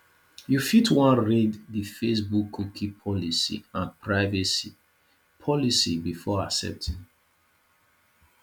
you fit wan read di facebook cookie policy and privacy policy before accepting